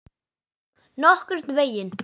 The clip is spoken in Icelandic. Nokkurn veginn.